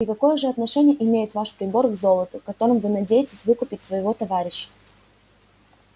и какое же отношение имеет ваш прибор к золоту которым вы надеетесь выкупить своего товарища